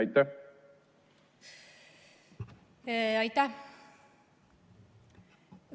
Aitäh!